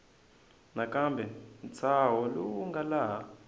nakambe ntshaho lowu nga laha